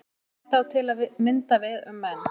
Þetta á til að mynda við um menn.